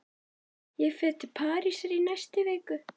Ég fer til Parísar í næstu viku.